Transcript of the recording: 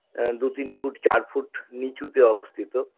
এ দু তিন feet চার feet নীচুতে অবস্থিত